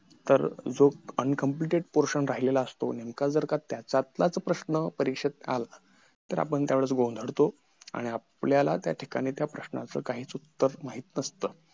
ज्या भागात मातीचे प्रमाण खूप जास्त असते तिथे माती सतत पडत राहिल्याने विहीर खणत खणत जा जाणे खूप आवघड असते, अश्या ठिकाणी